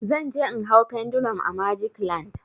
Zan je in hau pendulum a magic land.